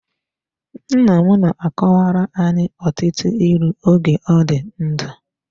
Nnam na-akọwara anyị ọtụtụ ịlụ oge ọ dị ndụ.